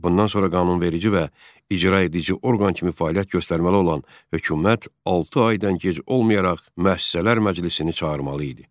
Bundan sonra qanunverici və icraedici orqan kimi fəaliyyət göstərməli olan hökumət altı aydan gec olmayaraq Müəssisələr Məclisini çağırmalı idi.